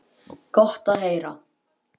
Gott að heyra.